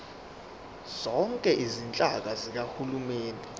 zonke izinhlaka zikahulumeni